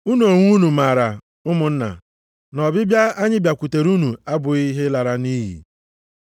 Unu onwe unu maara, ụmụnna, na ọbịbịa anyị bịakwutere unu abụghị ihe lara nʼiyi.